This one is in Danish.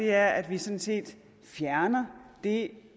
er at vi sådan set fjerner det